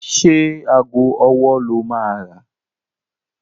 Ṣé ago ọwọ́ lo máa rà?